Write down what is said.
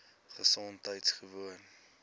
gesondheidgewoon